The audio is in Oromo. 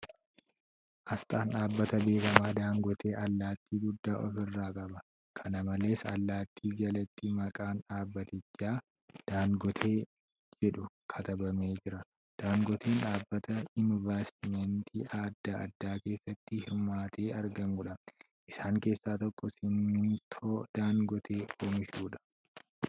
Asxaan dhaabbata beekamaa Daangootee allaatti guddaa ofirraa qaba. Kana malees, allaattii jalatti maqaan dhaabbatichaa ' Daangootee ' jedhu katabamee jira. Daangooteen dhaabata invastimantii adda addaa keessatti hirmaatee argamuudha. Isaan keessaa tokko simintoo Daangootee oomishuudha.